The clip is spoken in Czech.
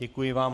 Děkuji vám.